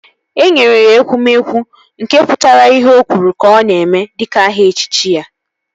E nyere ya Ekwueme, nke pụtara ihe ọ kwuru ka ọ na-eme dịka aha echichi ya